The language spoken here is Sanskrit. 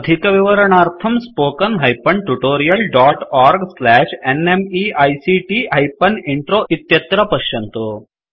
अधिकविवरणार्थं spoken hyphen tutorial dot org slash NMEICT hyphen intro इत्यत्र पश्यन्तु